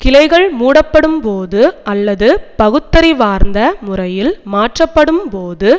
கிளைகள் மூடப்படும்போது அல்லது பகுத்தறிவார்ந்த முறையில் மாற்றப்படும்போது